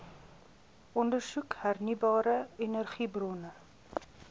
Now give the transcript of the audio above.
ondersoek hernieubare energiebronne